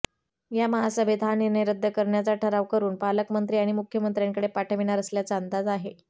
या महासभेत हा निर्णय रद्द करण्याचा ठराव करुन पालकमंत्री आणि मुख्यमंत्र्यांकडे पाठविणार असल्याचा अंदाज आहे